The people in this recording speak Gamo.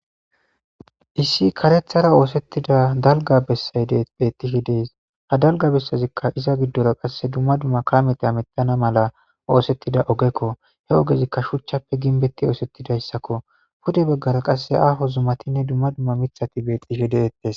Issi karethara oosettida dalga bessayde betihe dees ha dalga bessazikka iza giddora qasse dumma dumma kamete a mettana mala oosettida ogekko he ogezikka shuchchappe ginbetti oosettidayssakko pude baggara qasse aaho zummatinne dumma dumma mithati betxihe deettes